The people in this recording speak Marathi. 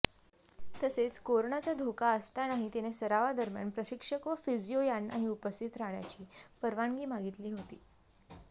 तसेच करोनाचा धोका असतानाही तिने सरावादरम्यान प्रशिक्षक व फिजिओ यांनाही उपस्थित राहण्याची परवानगी मागितली होती